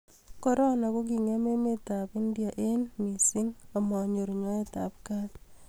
korona ko ki ngem emet ab india eng mising ama nyor nyoet ab kat